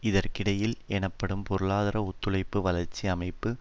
இதற்கிடையில் எனப்படும் பொருளாதார ஒத்துழைப்பு வளர்ச்சி அமைப்பு